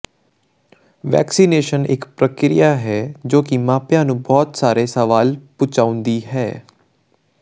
vaccination ਇੱਕ ਪ੍ਰਕਿਰਿਆ ਹੈ ਜੋ ਮਾਪਿਆਂ ਨੂੰ ਬਹੁਤ ਸਾਰੇ ਸਵਾਲ ਪੁਚਾਉਂਦੀ ਹੈ